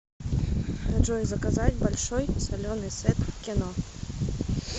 джой заказать большой соленый сет к кино